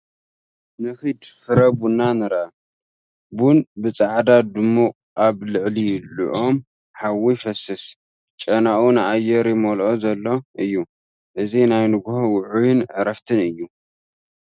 ንኺድ ፍረ ቡን ንርአ። ቡን ብጻዕዳ ጽማቝ ኣብ ልዕሊ ልኡም ሓዊ ይፈስስ፤ ጨናኡ ንኣየር ይመልኦ ዘሎ እዩ፣ እዚ ናይ ንግሆ ውዑይን ዕረፍትን እዩ።